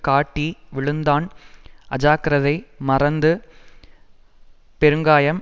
காட்டி விழுந்தான் அஜாக்கிரதை மறந்து பெருங்காயம்